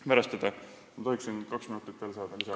Kas ma tohin veel kaks minutit lisaaega paluda?